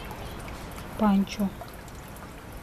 панчо